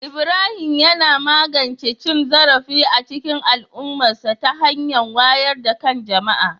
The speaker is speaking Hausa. Ibrahim yana magance cin zarafi a cikin al'ummarsa ta hanyar wayar da kan jama'a